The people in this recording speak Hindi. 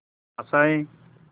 आशाएं